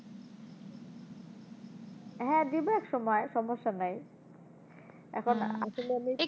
হ্যাঁ দিবো এক সময় সমস্যা নাই, এখন আসলে আমি